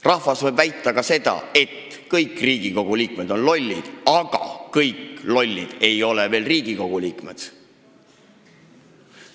Rahvas võib väita ka seda, et kõik Riigikogu liikmed on lollid, aga kõik lollid ei ole veel Riigikogu liikmed.